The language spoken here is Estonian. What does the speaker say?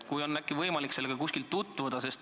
Äkki on võimalik sellega kuskil tutvuda?